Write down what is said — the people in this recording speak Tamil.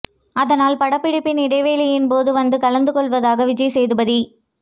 அதனால் படப்பிடிப்பின் இடைவேளையின் போது வந்து கலந்து கொள்வதாக விஜய் சேதுபதி